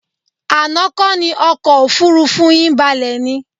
Àná kọ́ ni ọkọ̀ òfuurufú yín balẹ̀ ni?